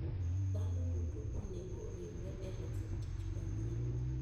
Dhano duto onego oriwre e loso kich manyien.